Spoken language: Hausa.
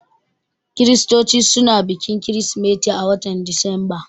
Kiristoci suna bikin kirismeti a watan Disamba